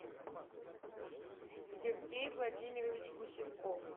сергей владимирович гусенков